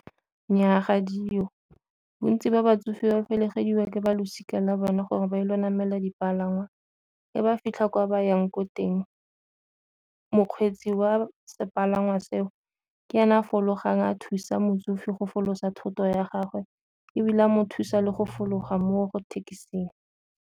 Nnyaa ga diyo bontsi ba batsofe ba felegediwa ke ba losika la bona gore ba ile namela dipalangwa, e ba fitlha kwa ba yang ko teng mokgweetsi wa sepalangwa seo ke ena fologang a thusa motsofe go folosa thoto ya gagwe, ebile a mo thusa le go fologa mo thekesing.